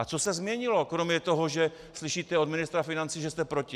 A co se změnilo kromě toho, že slyšíte od ministra financí, že je proti?